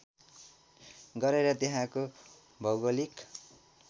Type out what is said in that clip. गरेर त्यहाँको भौगोलिक